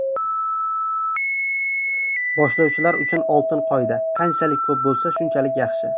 Boshlovchilar uchun oltin qoida: qanchalik ko‘p bo‘lsa, shunchalik yaxshi.